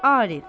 Arif.